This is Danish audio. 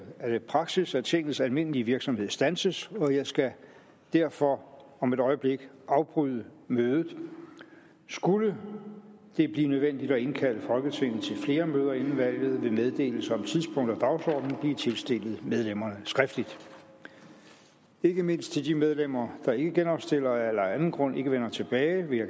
er det praksis at tingets almindelige virksomhed standses og jeg skal derfor om et øjeblik afbryde mødet skulle det blive nødvendigt at indkalde folketinget til flere møder inden valget vil meddelelse om tidspunkt og dagsorden blive tilstillet medlemmerne skriftligt ikke mindst de medlemmer der ikke genopstiller eller af anden grund ikke vender tilbage vil